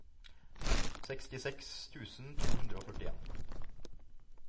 sekstiseks tusen to hundre og førtien